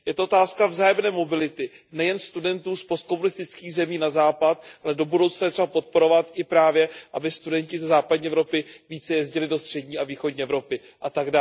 Je to otázka vzájemné mobility, nejen studentů z postkomunistických zemí na Západ, ale do budoucna je třeba podporovat i právě, aby studenti ze západní Evropy více jezdili do střední a východní Evropy, atd.